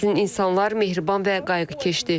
Sizin insanlar mehriban və qayğıkeşdir.